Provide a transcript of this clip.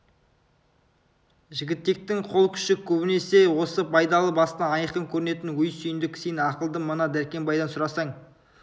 жігітектің қол күші көбінесе осы байдалы басынан айқын көрінетін өй сүйіндік сен ақылды мына дәркембайдан сұрасаң